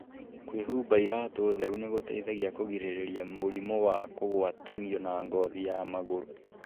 kwĩhumba iraatũ theru nĩ gũteithagia kũgirĩrĩria mũrimũ wa kũgwatanio na ngothi ya magũrũ.